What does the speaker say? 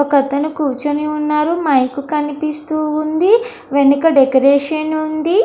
ఒక అతను కూర్చొని ఉన్నారు. మైక్ కనిపిస్తూ ఉంది. వెనక డెకొరేషన్ ఉంది.